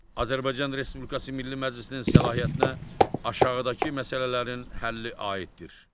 Azərbaycan Respublikası Milli Məclisinin səlahiyyətinə aşağıdakı məsələlərin həlli aiddir.